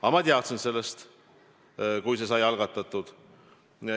Aga ma teadsin sellest, kui see sai algatatud.